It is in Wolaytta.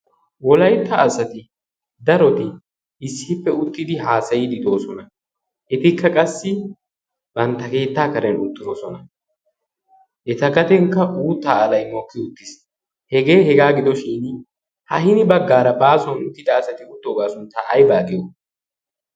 Wolaytta asati daroti issippe uttidi haasayide doosona. Etikka qassi bantta keetta karen uttidoosona. Eta gadenkka uuttaa halay mokki uttiis. Hegee hegaaa gidoshin ha hini baggaara baasuwan uttida asati uttooga suntta aybaa giyo?